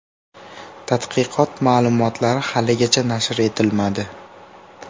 Tadqiqot ma’lumotlari haligacha nashr etilmadi.